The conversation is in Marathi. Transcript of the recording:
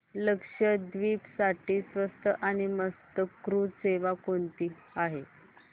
लक्षद्वीप साठी स्वस्त आणि मस्त क्रुझ सेवा कोणती आहे